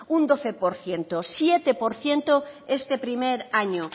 un doce por ciento siete por ciento este primer año